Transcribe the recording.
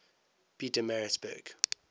pietermaritzburg